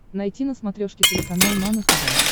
найти на смотрешке телеканал нано тв